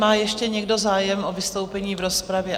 Má ještě někdo zájem o vystoupení v rozpravě?